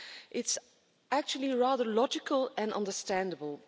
It's actually rather logical and understandable.